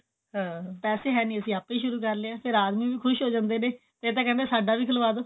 ਪੈਸੇ ਹੈ ਨਹੀਂ ਅਸੀਂ ਆਪੇ ਸ਼ੁਰੂ ਕਰ ਲਿਆ ਫੇਰ ਆਦਮੀ ਵੀ ਖੁਸ਼ ਹੋ ਜਾਂਦੇ ਨੇ ਫੇਰ ਤਾਂ ਕਹਿੰਦੇ ਨੇ ਸਾਡਾ ਵੀ ਖੁੱਲਵਾਦੋ